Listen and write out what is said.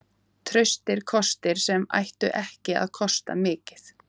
Traustir kostir sem ættu ekki að kosta mikið.